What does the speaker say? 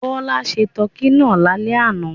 Bọ́lá se tọkí náà lálẹ́ àná.